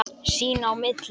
Sín á milli.